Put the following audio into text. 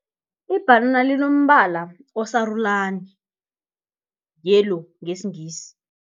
Ibhanana linombala osarulani, yellow ngesiNgisi.